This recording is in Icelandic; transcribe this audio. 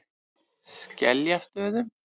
Skeljastöðum